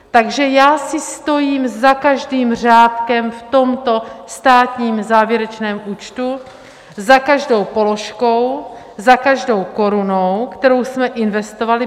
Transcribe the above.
Takže já si stojím za každým řádkem v tomto státním závěrečném účtu, za každou položkou, za každou korunou, kterou jsme investovali.